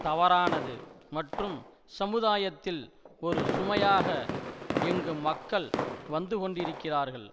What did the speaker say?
தவறானது மற்றும் சமுதாயத்தில் ஒரு சுமையாக இங்கு மக்கள் வந்து கொண்டிருக்கிறார்கள்